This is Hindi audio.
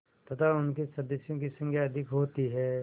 तथा उनके सदस्यों की संख्या अधिक होती है